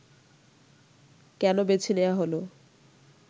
কেন বেছে নেয়া হলো